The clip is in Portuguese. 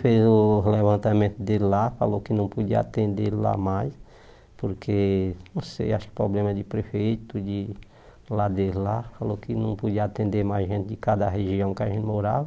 fez o levantamento dele lá, falou que não podia atender ele lá mais, porque, não sei, acho que problema de prefeito, de lá dele lá, falou que não podia atender mais gente de cada região que a gente morava.